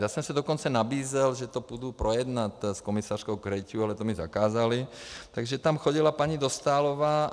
Já jsem se dokonce nabízel, že to půjdu projednat s komisařkou Cretu, ale to mi zakázali, takže tam chodila paní Dostálová.